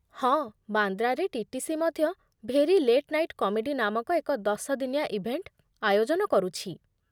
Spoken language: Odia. ହଁ, ବାନ୍ଦ୍ରାରେ ଟିଟିସି ମଧ୍ୟ 'ଭେରି ଲେଟ୍ ନାଇଟ୍ କମେଡ଼ି' ନାମକ ଏକ ଦଶ ଦିନିଆ ଇଭେଣ୍ଟ୍ ଆୟୋଜନ କରୁଛି।